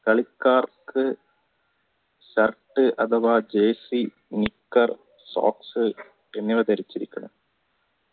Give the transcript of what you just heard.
കളിക്കാർക്ക് shirt അഥവാ jaisi nikar soacks എന്നിവ ധരിക്കാം